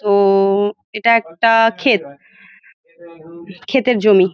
তো-ওও এইটা একটা ক্ষেত ক্ষেতের জমি ।